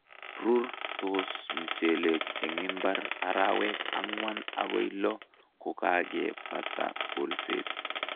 Rurtos mchelek eng imbar arawek ang'wan agoi lo kokebata kolset